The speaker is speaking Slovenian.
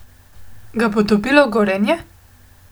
Ga bo dobilo tudi Gorenje?